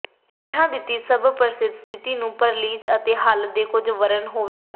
ਹੇਠ ਦਿੱਤੀ ਸਭ ਪ੍ਰਸਿੱਧ ਸਥਿਤੀ ਨੂੰ ਪਰੇਰੀਜ਼ ਅਤੇ ਹੱਲ ਦੇ ਕੁਝ ਵਰਣਨ ਹੋਵੇਗਾ